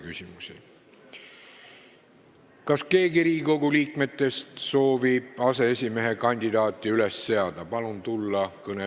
Kas keegi Riigikogu liikmetest soovib aseesimehe kandidaati üles seada?